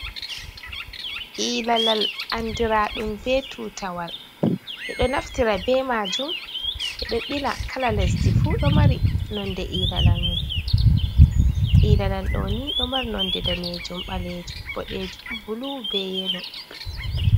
Ilalal andiraɗum be tutawal, ɓe ɗo naftira be majuum ɓe ɗo bila kala lesdi fuu, ilalal ɗoo ni ɗo mari nonde daneejuum , ɓaleejuum, boɗejum bulu be yelo.